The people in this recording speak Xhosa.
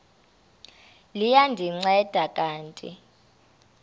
liya ndinceda kanti